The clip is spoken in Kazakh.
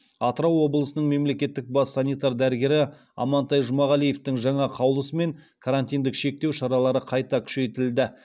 атырау облысының мемлекеттік бас санитар дәрігері амантай жұмағалиевтың жаңа қаулысымен карантиндік шектеу шаралары қайта күшейтілді